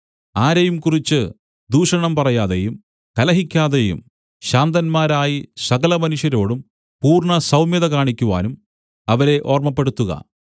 ആരെയും കുറിച്ച് ദൂഷണം പറയാതെയും കലഹിക്കാതെയും ശാന്തന്മാരായി സകലമനുഷ്യരോടും പൂർണ്ണസൗമ്യത കാണിക്കുവാനും അവരെ ഓർമ്മപ്പെടുത്തുക